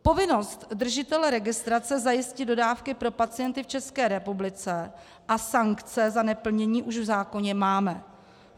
Povinnost držitele registrace zajistit dodávky pro pacienty v České republice a sankce za neplnění už v zákoně máme.